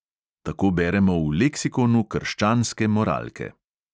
Tako beremo v leksikonu krščanske moralke.